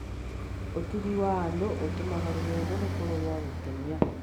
Ũtugi wa andũ ũtũmaga rũgendo rũkorwo rwa gũkenia.